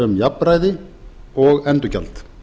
um jafnræði og endurgjald